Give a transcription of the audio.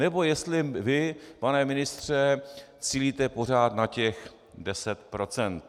Nebo jestli vy, pane ministře, cílíte pořád na těch deset procent?